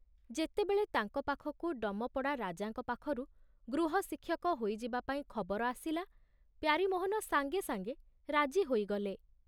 ଯେତେବେଳେ ତାଙ୍କ ପାଖକୁ ଡମପଡ଼ା ରାଜାଙ୍କ ପାଖରୁ ଗୃହଶିକ୍ଷକ ହୋଇଯିବା ପାଇଁ ଖବର ଆସିଲା, ପ୍ୟାରୀମୋହନ ସାଙ୍ଗେ ସାଙ୍ଗେ ରାଜି ହୋଇଗଲେ।